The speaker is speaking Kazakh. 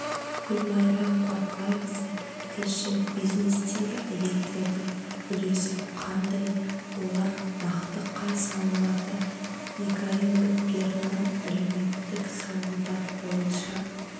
гүлмайра қуатбайқызы тілші бизнестегі әйелдердің үлесі қандай олар нақты қай салаларда микаэла бергман әлеуметтік сауалдар бойынша